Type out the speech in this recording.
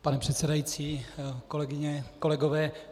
Pane předsedající, kolegyně, kolegové.